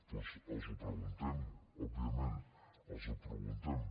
doncs els ho preguntem òbviament els ho preguntem